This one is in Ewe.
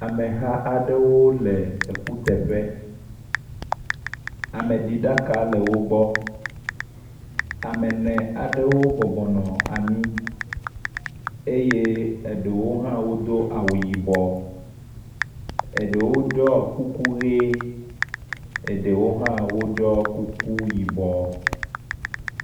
Ameha aɖewo le ekuteƒe, ame ɖi ɖaka le wogbɔ, ame ene aɖewo bɔbɔ nɔ anyi eye eɖewo hã wodo awu yibɔ, eɖewo do kuku yi, eɖewo hã wodoa kuku yibɔ